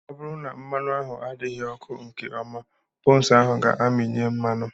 Ọ bụrụ na mmanụ ahụ adịghị ọkụ nke ọma, buns ga-amịnye mmanụ.